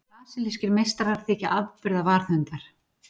Brasilískir meistarar þykja afburða varðhundar.